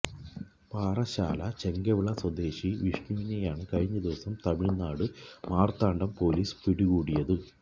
പാറശ്ശാല ചെങ്കവിള സ്വദേശി വിഷ്ണുവിനെയാണ് കഴിഞ്ഞ ദിവസം തമിഴ്നാട് മാര്ത്താണ്ഡം പൊലീസ് പിടികൂടിയത്